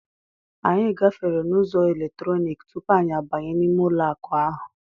Anyị gafere n'ụzọ eletrọnik tupu anyị abanye n'ime ụlọ akụ ahụ.